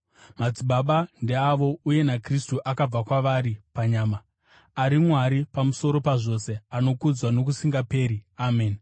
Madzibaba ndeavo, uye naKristu akabva kwavari panyama, ari Mwari pamusoro pazvose, anokudzwa nokusingaperi! Ameni.